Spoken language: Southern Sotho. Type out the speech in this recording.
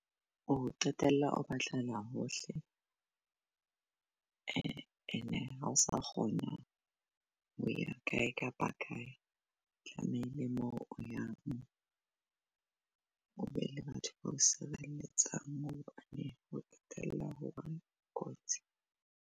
O qetella o batlela hohle ene ha o sa kgona ho ya kae kapa kae. Tlamehile mo o yang o be le batho bao sireletsang ho qetela ho kotsi.